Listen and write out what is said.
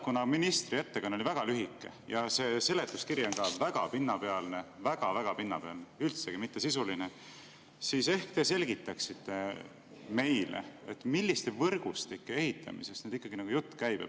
Kuna ministri ettekanne oli väga lühike ja see seletuskiri on ka väga pinnapealne, väga-väga pinnapealne, üldsegi mitte sisuline, siis ehk te selgitaksite meile, milliste võrgustike ehitamisest ikkagi jutt käib.